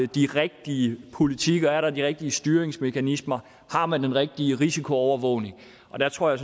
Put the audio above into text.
de rigtige politikker er der de rigtige styringsmekanismer har man den rigtige risikoovervågning og der tror jeg